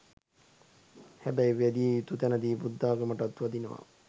හැබැයි වැදිය යුතු තැනදි බුද්ධාගමටත් වදිනවා.